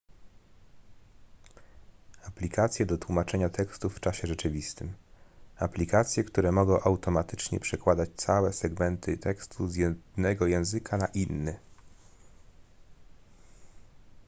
aplikacje do tłumaczeń tekstów w czasie rzeczywistym aplikacje które mogą automatycznie przekładać całe segmenty tekstu z jednego języka na inny